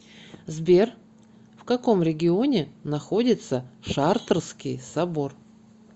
сбер в каком регионе находится шартрский собор